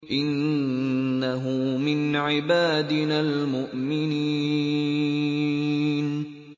إِنَّهُ مِنْ عِبَادِنَا الْمُؤْمِنِينَ